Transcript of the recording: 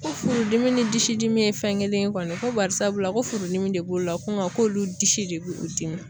Ko furudimi ni disi dimi ye fɛn kelen ye kɔni ko barisabula ko furudimi de b'u la ko olu disi de b'u dimi